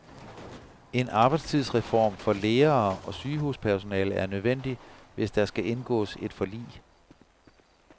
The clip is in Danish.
En arbejdstidsreform for lærere og sygehuspersonale er nødvendig, hvis der skal indgås et forlig.